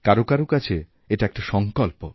কারও কারও কাছে এটা একটা সংকল্প